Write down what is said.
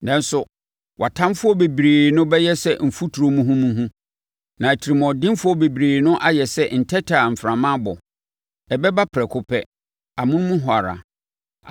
Nanso wʼatamfoɔ bebrebe no bɛyɛ sɛ mfuturo muhumuhu, na atirimuɔdenfoɔ bebrebe no ayɛ sɛ ntɛtɛ a mframa abɔ. Ɛbɛba prɛko pɛ, amonom hɔ ara.